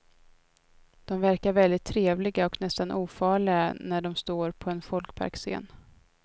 De verkar väldigt trevliga och nästan ofarliga när de står på en folkparksscen.